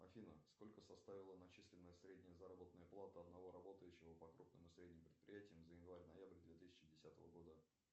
афина сколько составила начисленная средняя заработная плата одного работающего по крупным и средним предприятиям за январь ноябрь две тысячи десятого года